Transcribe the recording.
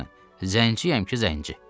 Bir sözlə, zəngçiyəm ki, zəngçi.